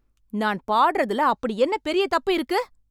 நான் பாடுறதுல அப்படி என்ன பெரிய தப்பு இருக்கு ?